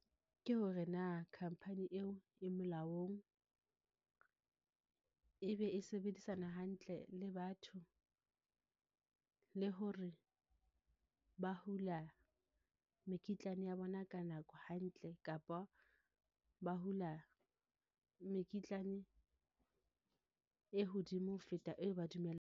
Ke hore na khampani eo e molaong, e be e sebedisana hantle le batho, le hore ba hula mekitlane ya bona ka nako hantle, kapa ba hula mekitlane e hodimo ho feta eo ba .